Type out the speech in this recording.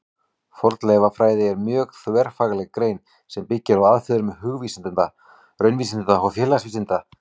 Fornleifafræði er mjög þverfagleg grein sem byggir á aðferðum hugvísinda, raunvísinda og félagsvísinda.